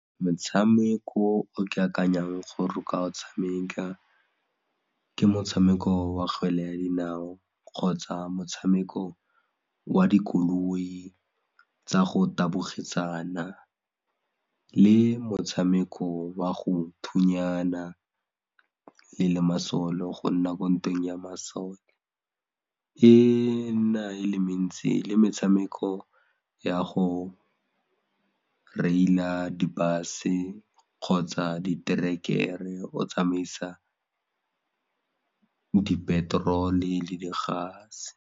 Motshameko o ke akanyang gore o ka o tshameka ka motshameko wa kgwele ya dinao kgotsa motshameko wa dikoloi tsa go tabogisana le motshameko wa go thunyana le masole go nna ko ntweng ya masole e na e le mentsi le metshameko ya go reila di-bus-e kgotsa diterekere o tsamaisa di-petrol-e le di-gas-e.